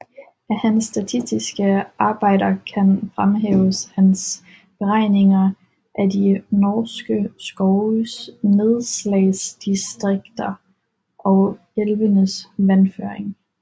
Af hans statistiske Arbejder kan fremhæves hans Beregninger af de norske Skoves Nedslagsdistrikter og Elvenes Vandføring